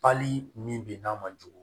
Pali min bɛ n'a ma jugu